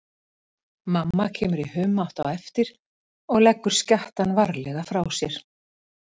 Mamma kemur í humátt á eftir og leggur skjattann varlega frá sér.